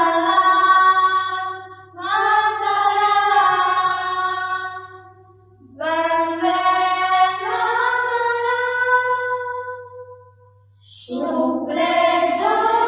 সুজলাং সুফলাং মলয়জশীতলাম